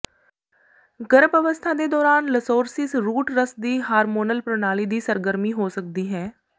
ਗਰੱਭ ਅਵਸੱਥਾ ਦੇ ਦੌਰਾਨ ਲਸੋਰਸਿਸ ਰੂਟ ਰਸ ਦੀ ਹਾਰਮੋਨਲ ਪ੍ਰਣਾਲੀ ਦੀ ਸਰਗਰਮੀ ਹੋ ਸਕਦੀ ਹੈ